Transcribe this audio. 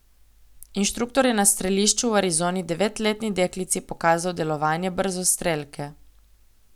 Inštruktor je na strelišču v Arizoni devetletni deklici pokazal delovanje brzostrelke.